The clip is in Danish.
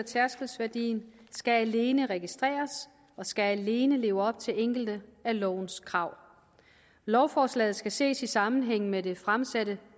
tærskelværdien skal alene registreres og skal alene leve op til enkelte af lovens krav lovforslaget skal ses i sammenhæng med det fremsatte